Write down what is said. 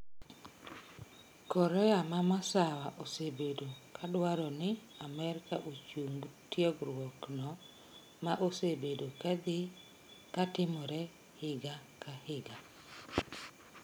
Korea ma masawa osebedo kadwaeoni Amerka ochung tiegruok no ma osebedo kadhii katimore higa ka higa